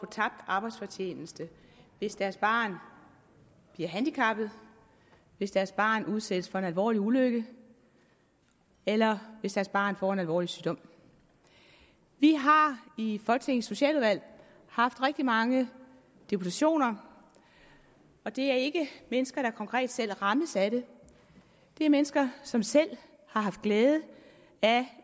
tabt arbejdsfortjeneste hvis deres barn bliver handicappet hvis deres barn udsættes for en alvorlig ulykke eller hvis deres barn får en alvorlig sygdom vi har i folketingets socialudvalg haft rigtig mange deputationer og det er ikke mennesker der selv rammes af det det er mennesker som selv har haft glæde af at